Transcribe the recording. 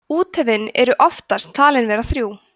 úthöfin eru oftast talin vera þrjú